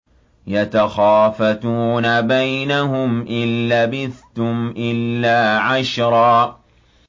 يَتَخَافَتُونَ بَيْنَهُمْ إِن لَّبِثْتُمْ إِلَّا عَشْرًا